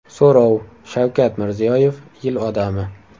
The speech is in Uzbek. So‘rov: Shavkat Mirziyoyev Yil odami.